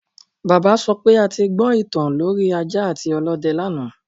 Bàbá sọ pé a ti gbọ ìtàn lorí ajá àti ọlọ́dẹ lánàá